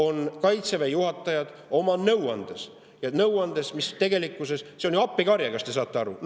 – Kaitseväe juhatajate nõuannet, mis tegelikkuses on ju appikarje, kas te saate aru!